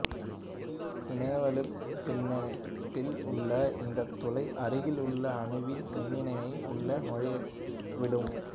இணைவலுப் பிணைப்பில் உள்ள இந்த்த் துளை அருகில் உள்ள அணுவின் மின்னனை உள்ளே நுழையவிடும்